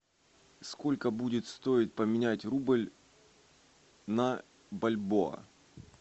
сколько будет стоить поменять рубль на бальбоа